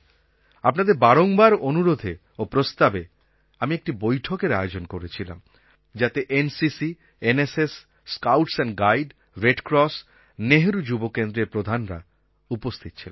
আপনাদের বারংবার অনুরোধে ও প্রস্তাবে আমি একটি বৈঠকের আয়োজন করেছিলাম যাতে NCC NSS scouts and guide red cross Nehru যুবকেন্দ্রের প্রধানরা উপস্থিত ছিলেন